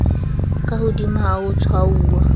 ka hodimo ha ho tshwauwa